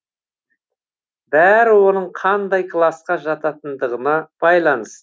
бәрі оның қандай класқа жататындығына байланысты